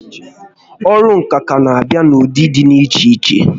Ọrụ ǹkà kà n'abịa n'ụdị dị iche iche